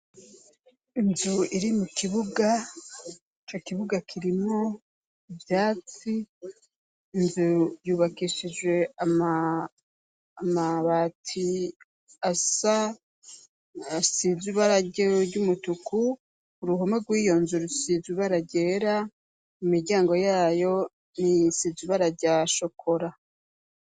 Inzu iri mu kibuga, ico kibuga kirimwo ivyatsi, inzu yubakishijwe amabati asa, asiz'ibara ry'umutuku, uruhome rw'iyonzu rusizwe ibara ryera ,imiryango yayo niyisize ibara rya shokora.